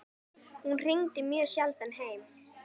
Hún hringdi mjög sjaldan heim.